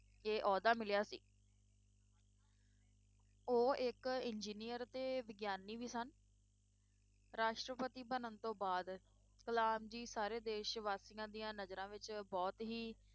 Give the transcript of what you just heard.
ਇਹ ਅਹੁਦਾ ਮਿਲਿਆ ਸੀ ਉਹ ਇੱਕ engineer ਤੇ ਵਿਗਿਆਨੀ ਵੀ ਸਨ ਰਾਸ਼ਟਰਪਤੀ ਬਣਨ ਤੋਂ ਬਾਅਦ ਕਲਾਮ ਜੀ ਸਾਰੇ ਦੇਸ ਵਾਸ਼ੀਆਂ ਦੀਆਂ ਨਜ਼ਰਾਂ ਵਿੱਚ ਬਹੁਤ ਹੀ,